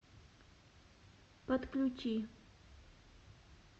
подключи